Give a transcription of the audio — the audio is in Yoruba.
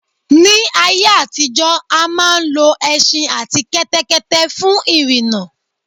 Ní ayé àtijó a máa ń lo ẹṣin àti kẹ́tẹ́kẹ́tẹ́ fún ìrìnà